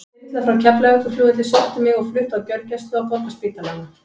Þyrla frá Keflavíkurflugvelli sótti mig og flutti á gjörgæslu á Borgarspítalanum.